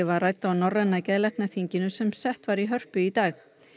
var rædd á Norræna geðlæknaþinginu sem sett var í Hörpu í dag